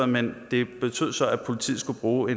men det betød så at politiet skulle bruge